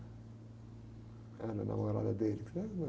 Era a namorada dele.